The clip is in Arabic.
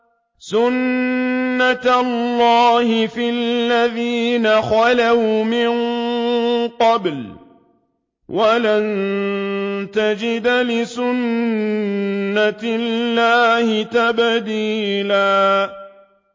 سُنَّةَ اللَّهِ فِي الَّذِينَ خَلَوْا مِن قَبْلُ ۖ وَلَن تَجِدَ لِسُنَّةِ اللَّهِ تَبْدِيلًا